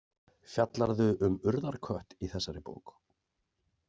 Fjallarðu um urðarkött í þessari bók?